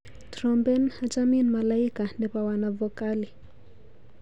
Trompen achamin malaika nebo Wanavokali.